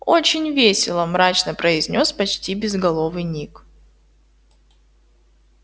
очень весело мрачно произнёс почти безголовый ник